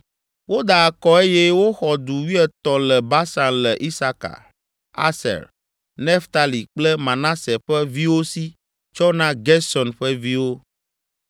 Woda akɔ eye woxɔ du wuietɔ̃ le Basan le Isaka, Aser, Naftali kple Manase ƒe viwo si tsɔ na Gerson ƒe viwo.